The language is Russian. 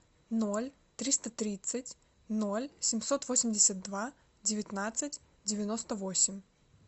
ноль триста тридцать ноль семьсот восемьдесят два девятнадцать девяносто восемь